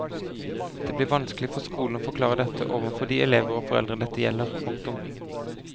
Det blir vanskelig for skolene å forklare dette overfor de elever og foreldre dette gjelder. punktum